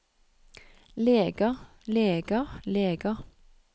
leger leger leger